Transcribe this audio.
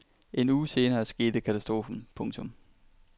En uge senere skete katastrofen. punktum